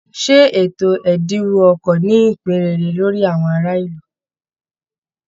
Ṣé ètò ẹ̀dínwó ọkọ̀ ní ìpín rere lórí àwọn ará ìlú?